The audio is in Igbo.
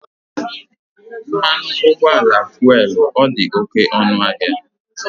Mmanụ ụgbọala fuelu ọ dị oké ọnụ ahịa?